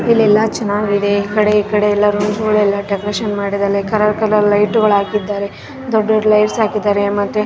ಇಲ್ಲೆಲ್ಲ ಚೆನ್ನಾಗಿದೆ ಆ ಕಡೆ ಈ ಕಡೆ ಎಲ್ಲ ರೋಡ್ ಗಳೆಲ್ಲ ಡೆಕೋರೇಷನ್ ಮಾಡಿದಾರೆ ಕಲರ್ ಕಲರ್ ಲೈಟ್ ಗಳು ಹಾಕಿದ್ದಾರೆ ದೊಡ್ಡ ದೊಡ್ಡ ಲೈಟ್ ಹಾಕಿದ್ದಾರೆ ಮತ್ತೆ .